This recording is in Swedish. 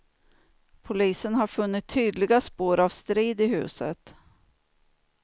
Polisen har funnit tydliga spår av strid i huset.